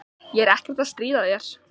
Ég er ekkert að stríða þér.